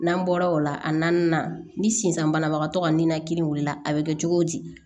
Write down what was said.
N'an bɔra o la a naaninan ni sisan banabagatɔ ka ninakili la a bɛ kɛ cogo di